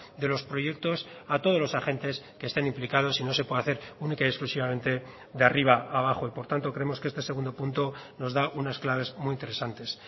de los proyectos a todos los agentes que estén implicados y no se puede hacer única y exclusivamente de arriba a abajo y por tanto creemos que este segundo punto nos da unas claves muy interesantes